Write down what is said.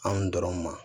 An dɔrɔn ma